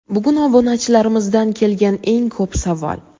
Bugun obunachilarimizdan kelgan eng ko‘p savol.